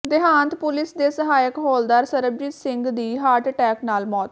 ਦੇਹਾਤ police ਦੇ ਸਹਾਇਕ ਹੌਲਦਾਰ ਸਰਬਜੀਤ ਸਿੰਘ ਦੀ ਹਾਰਟ ਅਟੈਕ ਨਾਲ ਮੌਤ